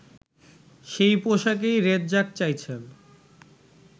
সেই পোশাকই রেজ্জাক চাইছেন